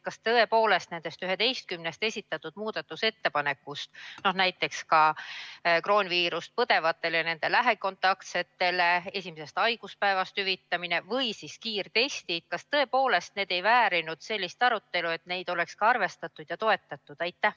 Kas tõepoolest nendest 11 esitatud muudatusettepanekust, näiteks kroonviirust põdevatele ja nende lähikontaktsetele esimesest haiguspäevast alates hüvitise maksmine või siis kiirtestide, kas tõepoolest need ei väärinud sellist arutelu, et neid oleks ka arvestatud ja toetatud?